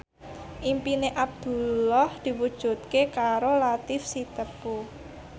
impine Abdullah diwujudke karo Latief Sitepu